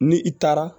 Ni i taara